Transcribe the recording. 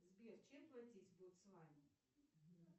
сбер чем платить в ботсване